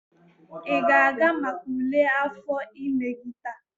ị ga-aga maka ule afọ ime gị taa?